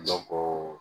Dɔn ko